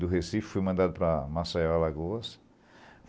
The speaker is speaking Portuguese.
Do Recife fui mandado para Maceió, Alagoas.